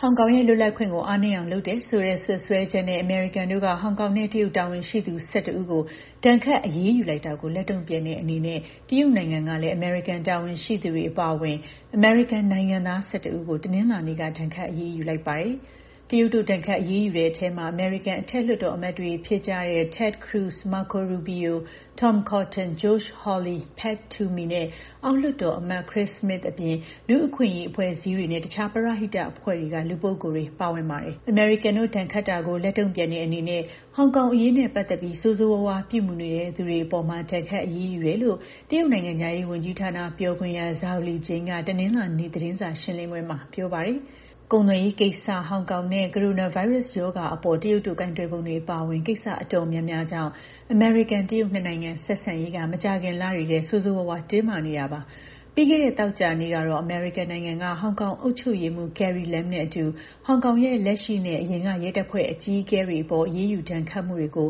ဟောင်ကောင်ရဲ့ လွတ်လပ်ခွင့်ကို အားနည်းအောင်လုပ်တယ်ဆိုတဲ့ စွပ်စွဲချက်နဲ့ အမေရိကန်တို့က ဟောင်ကောင်နဲ့ တရုတ် တာဝန်ရှိသူ ၁၁ ဦးကို ဒဏ်ခတ်အရေးယူတာလိုက်တာကို လက်တုံ့ပြန်တဲ့ အနေနဲ့ တရုတ်နိုင်ငံကလည်း အမေရိကန်တာဝန်ရှိသူတွေအပါအဝင် အမေရိကန်နိုင်ငံသား ၁၁ ဦးကို တနင်္လာနေ့က ဒဏ်ခတ် အရေးယူလိုက်ပါတယ်။ တရုတ်တို့ ဒဏ်ခတ် အရေးယူတဲ့အထဲ အမေရိကန် အထက် လွှတ်တော် အမတ်တွေ ဖြစ်ကြတဲ့ Ted Cruz ၊ Marco Rubio ၊ Tom Cotton ၊ Josh Hawley ၊ Pat Toomey နဲ့အောက်လွှတ်တော်အမတ် Chris Smith အပြင် လူ့အခွင့်အရေးအဖွဲ့အစည်းတွေနဲ့တခြားပရဟိတအဖွဲ့တွေက လူပုဂ္ဂိုလ်တွေ ပါဝင်ပါတယ်။ အမေရိကန်တို့ ဒဏ်ခတ်တာကို လက်တုံ့ပြန်တဲ့ အနေနဲ့ ဟောင်ကောင်အရေးနဲ့ ပတ်သက်ပြီး ဆိုးဆိုးရွားရွား ပြုမူနေတဲ့ သူတွေအပေါ် ဒဏ်ခတ်အရေးယူတယ်လို့ တရုတ်နိုင်ငံခြားရေး ဝန်ကြီးဌာန ပြောခွင့်ရ Zhao Lijian က တနင်္လာနေ့ သတင်းစာရှင်းလင်းပွဲမှာ ပြောပါ တယ်။ ဒဏ်ခတ်မှု အသေးစိတ် အချက်အလက်တွေကိုတော့ ရှင်းလင်းပြောကြားတာ မရှိပါဘူး။ ကုန်သွယ်ရေးကိစ္စ၊ ဟောင်ကောင်နဲ့ ကိုရိုနာဗိုင်းရပ်စ် ရောဂါအပေါ် တရုတ်တို့ ကိုင်တွယ်ပုံတွေ အပါအဝင် ကိစ္စ တော်တော် များများကြောင့် အမေရိကန် တရုတ် နှစ်နိုင်ငံ ဆက်ဆံရေးက မကြာခင်လတွေထဲ ဆိုးဆိုးရွားရွား တင်းမာနေတာပါ။ ပြီးခဲ့တဲ့ သောကြာနေ့ကတော့ အမေရိကန်နိုင်ငံက ဟောင်ကောင် အုပ်ချုပ်ရေးမှူး Carrie Lam နဲ့အတူ ဟောင်ကောင်ရဲ့ လက်ရှိနဲ့ အရင်က ရဲတပ်ဖွဲ့အကြီးအကဲတွေအပေါ် အရေးယူဒဏ်ခတ်မှုတွေကို